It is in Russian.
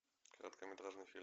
короткометражный фильм